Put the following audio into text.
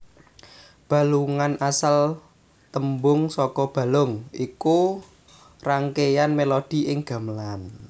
Balungan asal tembung saka balung iku rangkeyan melodi ing gamelan